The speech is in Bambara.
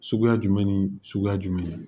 Suguya jumɛn ni suguya jumɛn ye